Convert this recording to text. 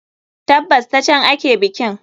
Tabbas, ta can ake bikin.